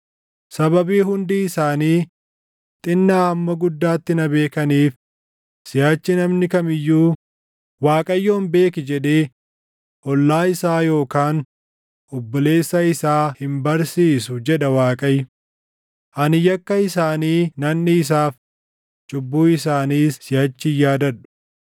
Sababii hundi isaanii, xinnaa hamma guddaatti na beekaniif, siʼachi namni kam iyyuu, ‘ Waaqayyoon beeki’ jedhee ollaa isaa yookaan obboleessa isaa hin barsiisu” jedha Waaqayyo. “Ani yakka isaanii nan dhiisaaf; cubbuu isaaniis siʼachi hin yaadadhu.”